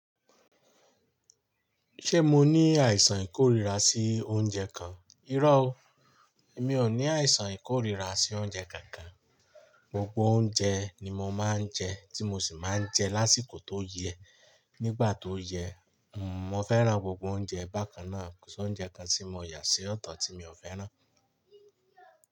Ṣé mo ní àìsàn ìkórìíra sí oúnjẹ kan? Irọ́ o, emi ò ní àìsàn ìkórìíra sí oúnjẹ kankan. Gbogbo oúnjẹ ni mo máa ń jẹ tí mo sì máa ń jẹ lásìkò tó yẹ. Nígbà tó yẹ, mo fẹ́ran gbogbo oúnjẹ bákan náà. Kò sí oúnjẹ kan tí mo yà sí ọ̀tọ̀ tí mi ò fẹ́ràn.